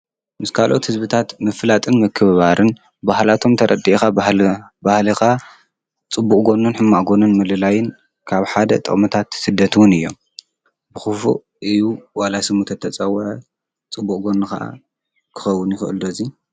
ምስ ካልኦት ሕዝብታት ምፍላጥን ምክብባርን ባህላቶም ተረዲኢኻ ባህልኻ ጽቡቕጎኑን ሕማእጎኑን ምልላይን ካብ ሓደ ጠምታት ስደትውን እዮም ።ብኽፉ እዩ ዋላስሙተት ተጸወዐ ጽቡቕጎኑ ከዓ ክኸቡን ይፈኦል ዶዙይ